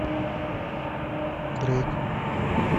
дрейк